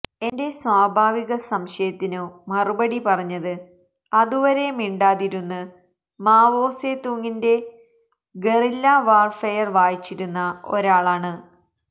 എന്റെ സ്വാഭാവിക സംശയത്തിനു മറുപടി പറഞ്ഞത് അതു വരെ മിണ്ടാതിരുന്ന് മാവോ സെ തുങ്ങിന്റെ ഗറില്ലാ വാര്ഫെയര് വായിച്ചിരുന്ന ഒരാളാണ്